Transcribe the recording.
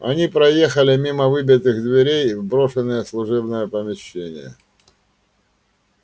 они проехали мимо выбитых дверей в брошенные служебные помещения